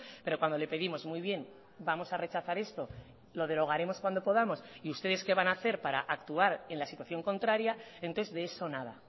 pero cuando le pedimos muy bien vamos a rechazar esto lo derogaremos cuando podamos y ustedes qué van a hacer para actuar en la situación contraria entonces de eso nada